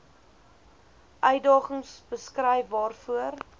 uitdagings beskryf waarvoor